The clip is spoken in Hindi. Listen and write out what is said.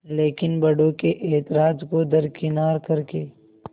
लेकिन बड़ों के ऐतराज़ को दरकिनार कर के